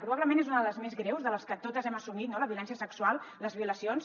probablement és una de les més greus de les que totes hem assumit no la violència sexual les violacions